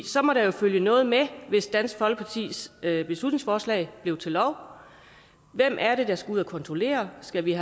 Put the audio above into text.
så må der jo følge noget med hvis dansk folkepartis beslutningsforslag blev til lov hvem er det der skal ud at kontrollere og skal vi